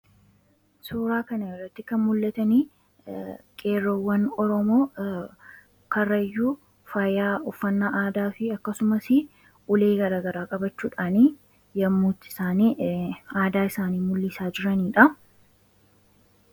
suuraa kana irratti kan mul'atan qeerroowwan oromoo karayyuu faayaa ufannaa aadaa fi akkasumas ulee garaa garaa qabachuudhaan yeroo itti aadaa isaanii mul'isaa jiraniidha.